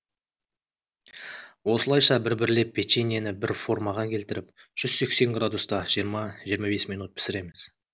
осылайша бір бірлеп печеньені бір формаға келтіріп жүз сексен градуста жиырма жиырма бес минут пісіреміз